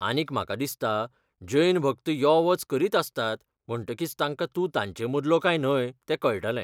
आनीक म्हाका दिसता जैन भक्त यो वच करीत आसतात म्हणटकीच तांकां तूं तांचेमदलो काय न्हय तें कळटलें.